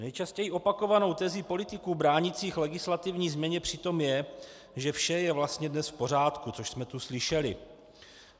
Nejčastěji opakovanou tezí politiků bránících legislativní změně přitom je, že vše je vlastně dnes v pořádku, což jsme tu slyšeli.